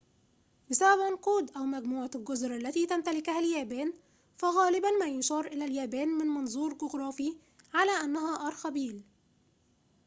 بسبب عنقود/مجموعة الجزر التي تمتلكها اليابان، فغالباً ما يُشار إلى اليابان -من منظور جغرافي- على أنها أرخبيل